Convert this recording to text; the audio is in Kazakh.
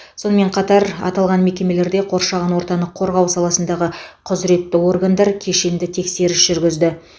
сонымен қатар аталған мекемелерде қоршаған ортаны қорғау саласындағы құзыретті органдар кешенді тексеріс жүргізді